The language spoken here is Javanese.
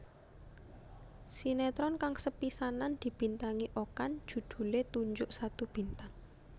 Sinetron kang sepisanan dibintangi Okan judhulé Tunjuk Satu Bintang